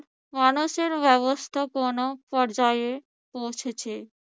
মানুষের ব্যবস্থাপনা পর্যায়ে পৌঁছেছে।